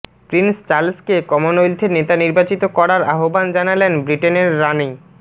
Prince চার্লসকে কমনওয়েলথের নেতা নির্বাচিত করার আহবান জানালেন ব্রিটেনের রানী